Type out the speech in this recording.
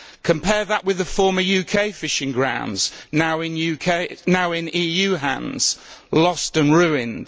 Compare that with the former UK fishing grounds, now in EU hands. Lost and ruined.